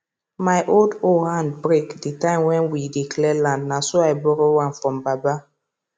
my old hoe hand break the time when we dey clear land na so i borrow one from baba